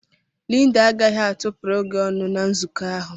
Linda agaghị atụpụrụ gị ọnụ na nzukọ ahụ.